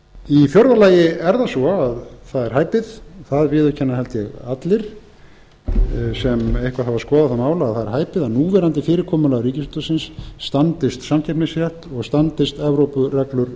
í fjórða lagi er það svo að það er hæpið það viðurkenna held ég allir sem eitthvað hafa skoðað það mál að það er hæpið að núverandi fyrirkomulag ríkisútvarpsins standist samkeppnisrétt og standist evrópureglur